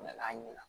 U nana ɲɛna